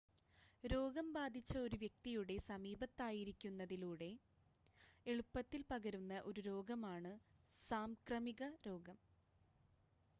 രോഗം ബാധിച്ച ഒരു വ്യക്തിയുടെ സമീപത്തായിരിക്കുന്നതിലൂടെ എളുപ്പത്തിൽ പകരുന്ന ഒരു രോഗമാണ് സാംക്രമിക രോഗം